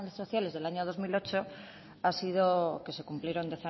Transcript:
sociales del año dos mil ocho ha sido que se cumplieron